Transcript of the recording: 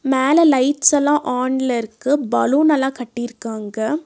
மேல லைட்ஸ்ஸல்லா ஆன்ல இருக்கு பலூன்னல்லா கட்டிருக்காங்க.